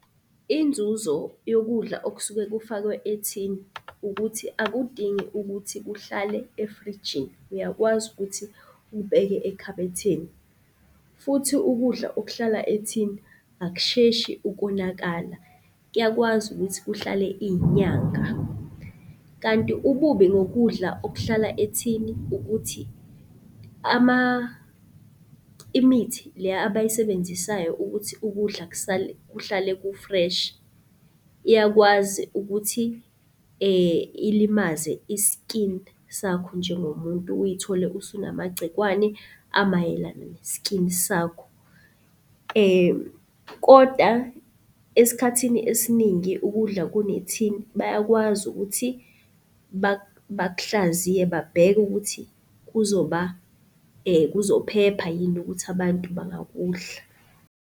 Inzuzo yokudla okusuke kufakwe ethini ukuthi akudingi ukuthi kuhlale efrijini, uyakwazi ukuthi ukubeke ekhabetheni. Futhi ukudla okuhlala ethini akusheshi ukonakala, kuyakwazi ukuthi kuhlale iy'nyanga. Kanti ububi ngokudla okuhlala ethini ukuthi imithi le abayisebenzisayo ukuthi ukudla kuhlale ku-fresh iyakwazi ukuthi ilimaze i-skin sakho njengomuntu uyithole usunamagcikwane amayelana ne-skin sakho. Koda esikhathini esiningi ukudla kunethini bayakwazi ukuthi bakuhlaziye babheke ukuthi kuzoba, kuzophepha yini ukuthi abantu bangakudla.